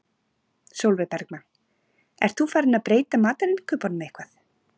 Sólveig Bergmann: Ert þú farinn að breyta matarinnkaupunum eitthvað?